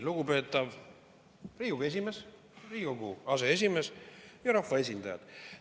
Lugupeetav Riigikogu esimees, aseesimees ja rahvaesindajad!